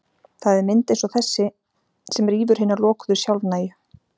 Það er mynd eins og þessi sem rýfur hina lokuðu, sjálfnægu